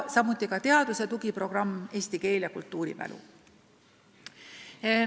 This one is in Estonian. Samuti on käivitatud teadusprogramm "Eesti keel ja kultuurimälu".